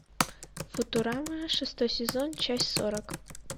футурама шестой сезон часть сорок